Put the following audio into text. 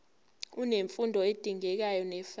unemfundo edingekayo nefanele